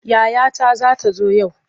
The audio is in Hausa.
Yayata za ta zo yau.